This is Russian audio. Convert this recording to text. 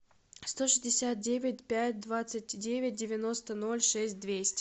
сто шестьдесят девять пять двадцать девять девяносто ноль шесть двести